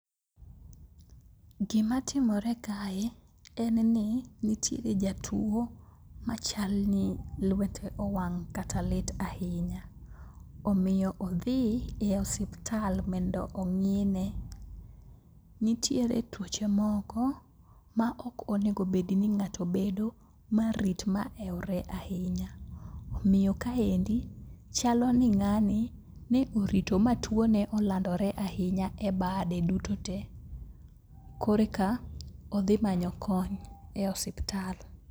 Gimatimore kae en ni nitiere jatuo machalni lwete owang' kata lit ahinya, omiyo odhi i osiptal mondo ong'ine. Nitiere tuoche moko ma ok onego bedni ng'ato bedo marit ma ewre ahinya, omiyo kaendi chalo ni ng'ani ne orito ma tuone olandore ahinya e bade duto te koro eka odhimanyo kony e osiptal.